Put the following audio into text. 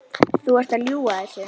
Þú ert að ljúga þessu!